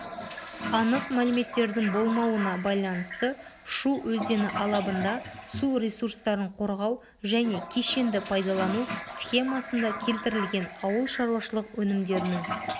анық мәліметтердің болмауына байланысты шу өзені алабында су ресурстарын қорғау және кешенді пайдалану схемасында келтірілген ауыл шаруашылық өнімдерінің